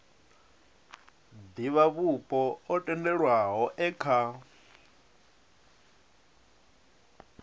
divhavhupo o tendelwaho e kha